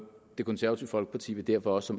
det konservative folkeparti vil derfor også